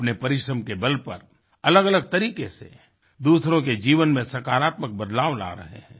अपने परिश्रम के बल पर अलगअलग तरीके से दूसरों के जीवन में सकारात्मक बदलाव ला रहे हैं